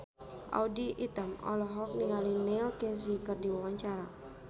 Audy Item olohok ningali Neil Casey keur diwawancara